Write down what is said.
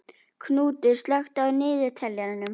Knútur, slökktu á niðurteljaranum.